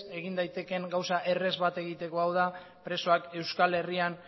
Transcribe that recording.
egin daitekeen gauza errez bat egiteko hau da presoak euskal herrian